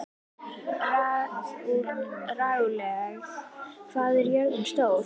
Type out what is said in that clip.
Ragúel, hvað er jörðin stór?